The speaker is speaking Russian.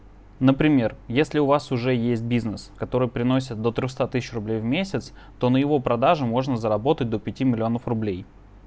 например если у вас уже есть бизнес который приносит до трёх ста тысяч рублей в месяц то на его продажу можно заработать до пяти миллионов рублей